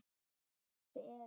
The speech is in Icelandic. Þetta er speki.